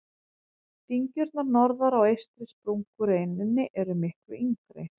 Dyngjurnar norðar á eystri sprungureininni eru miklu yngri.